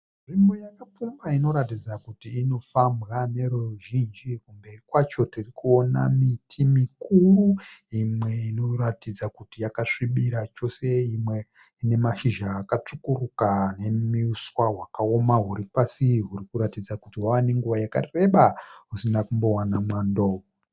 Nzvimbo yakapfumba inoratidza kuti inofambwa neruzhinji. Kumberi kwacho tiri kuona miti mikuru imwe inoratidza kuti yakasvibira chose imwe ine mashizha akatsvukuruka nemiswa hwakaoma huri pasi huri kuratidza kuti hwava nenguva yakareba usina kumbowana mwando.